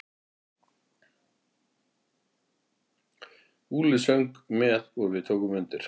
Úlli söng með og við tókum undir.